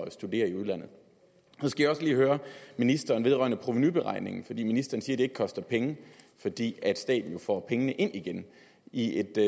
at studere i udlandet så skal jeg også lige høre ministeren vedrørende provenuberegningerne ministeren siger at det ikke koster penge fordi staten jo får pengene ind igen i et